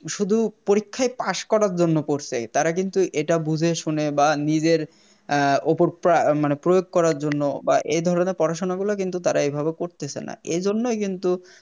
শুধু পরীক্ষায় Pass করার জন্য পড়ছে তারা কিন্তু এটা বুঝেশুনে বা নিজের ওপর প্রা মানে প্রয়োগ করার জন্য বা এধরণের পড়াশুনো গুলো কিন্তু এভাবে করতেছেনা এজন্যেই কিন্তু